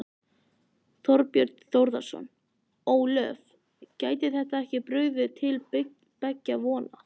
Þorbjörn Þórðarson: Ólöf, gæti þetta ekki brugðið til beggja vona?